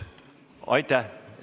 Aitäh!